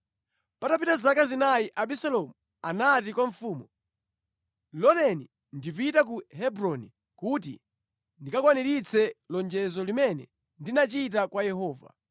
Patapita zaka zinayi Abisalomu anati kwa mfumu, “Loleni ndipite ku Hebroni kuti ndikakwaniritse lonjezo limene ndinachita kwa Yehova.